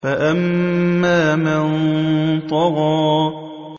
فَأَمَّا مَن طَغَىٰ